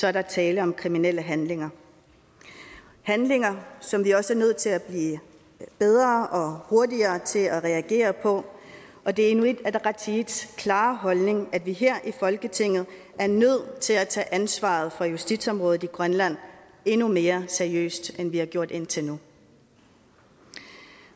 er der tale om kriminelle handlinger handlinger som vi også er nødt til at blive bedre og hurtigere til og reagere på og det er inuit ataqatigiits klare holdning at vi her i folketinget er nødt til at tage ansvaret for justitsområdet i grønland endnu mere seriøst end vi har gjort indtil nu